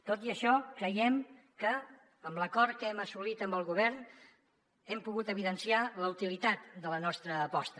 tot i això creiem que amb l’acord que hem assolit amb el govern hem pogut evidenciar la utilitat de la nostra aposta